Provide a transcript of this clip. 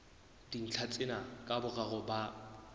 dintlha tsena ka boraro ba